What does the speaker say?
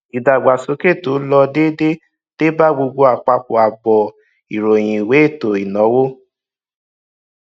ìdàgbàsókè tó lọ déédéé dé bá gbogbo àpapọ àbọ ìròyìn ìwé ètò ìnáwó